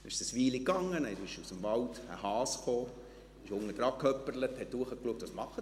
Es ging eine Weile, dann kam aus dem Wald ein Hase, hoppelte unter den Baum und schaute nach oben: